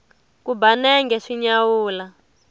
ku ba nenge swi nyawula